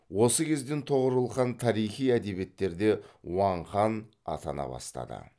осы кезден тоғорыл хан тарихи әдебиеттерде уаң хан атана бастады